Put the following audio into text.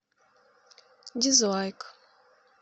дизлайк